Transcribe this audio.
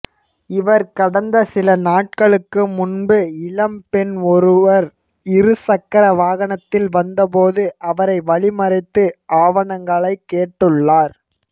இவர் கடந்த சில நாட்களுக்கு முன்பு இளம்பெண் ஒருவர் இரு சக்கர வாகனத்தில் வந்தபோது அவரை வழிமறித்து ஆவணங்களை கேட்டுள்ளார்